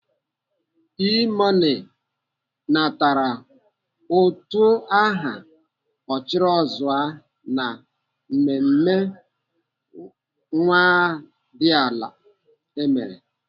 E-money natara ụtụ aha Ọchịrọzụwa na mmemme nwadiala emere.